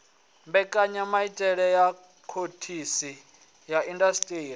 mbekanyamaitele ya phoḽisi ya indasiṱeri